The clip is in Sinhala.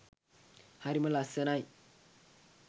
හරිම ලස්සනයි.